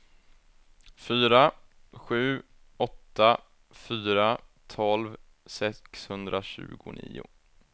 fyra sju åtta fyra tolv sexhundratjugonio